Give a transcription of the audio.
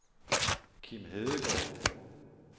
Kim Hedegaard